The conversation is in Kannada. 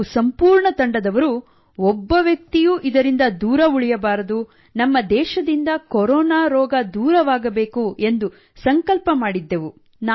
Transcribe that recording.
ನಾವು ಸಂಪೂರ್ಣ ತಂಡದವರು ಒಬ್ಬ ವ್ಯಕ್ತಿಯೂ ಇದರಿಂದ ದೂರ ಉಳಿಯಬಾರದು ನಮ್ಮ ದೇಶದಿಂದ ಕೊರೊನಾ ಹೊರ ಹಾಕಬೇಕು ಎಂದು ಸಂಕಲ್ಪ ಮಾಡಿದ್ದೆವು